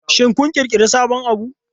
Shin kun ƙirƙiri sabon abu?